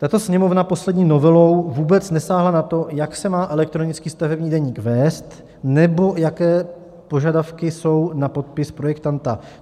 Tato Sněmovna poslední novelou vůbec nesáhla na to, jak se má elektronický stavební deník vést nebo jaké požadavky jsou na podpis projektanta.